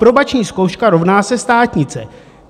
Aprobační zkouška rovná se státnice.